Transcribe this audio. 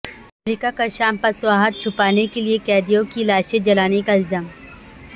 امریکہ کا شام پر شواہد چھپانے کے لیے قیدیوں کی لاشیں جلانے کا الزام